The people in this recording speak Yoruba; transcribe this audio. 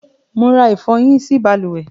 Mo ra ìfọhí sí balùwẹ́